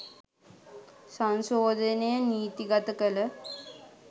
සංශෝධනය නීති ගත කළ